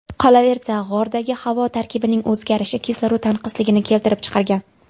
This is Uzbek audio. Qolaversa, g‘ordagi havo tarkibining o‘zgarishi kislorod tanqisligini keltirib chiqargan.